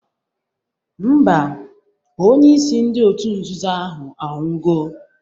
Mba, onyeisi ndị otu nzuzo ahụ anwụgo